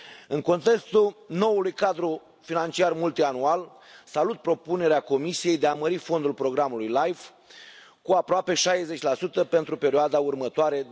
În contextul noului cadru financiar multianual, salut propunerea Comisiei de a mări fondul programului LIFE cu aproape 60 pentru perioada următoare,